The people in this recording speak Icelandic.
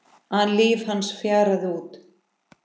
an líf hans fjaraði út.